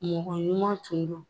Mɔgɔ ɲuman tun do.